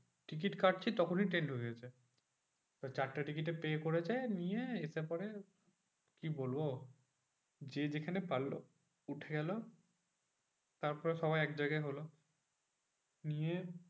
Ticket কাটছি তখনই train ঢুকে গেছে। তো চারটে টিকিটের pay করেছে। নিয়ে এসে পরে কি বলবো? যে যেখানে পারলো উঠে গেলো। তারপরে সবাই একজায়গায় হলো। নিয়ে